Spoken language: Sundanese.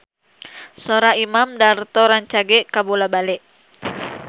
Sora Imam Darto rancage kabula-bale